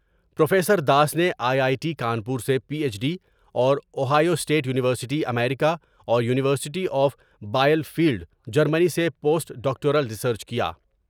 Professor Das نے I I T Kanpur سے P H D اور اوہیو اسٹیٹ یونیورسٹی امریکہ اور university of Bielefeld Germany سے پوسٹ ڈاکٹورل ریسرچ کیا ۔